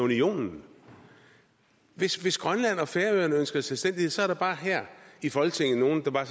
i unionen hvis hvis grønland og færøerne ønsker selvstændighed er der bare her i folketinget nogle der